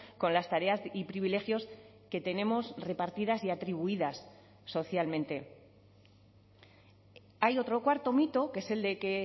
con las tareas y privilegios que tenemos repartidas y atribuidas socialmente hay otro cuarto mito que es el de que